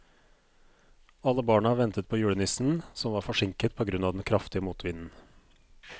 Alle barna ventet på julenissen, som var forsinket på grunn av den kraftige motvinden.